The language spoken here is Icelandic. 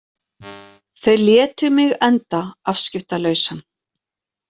Þau létu mig enda afskiptalausan.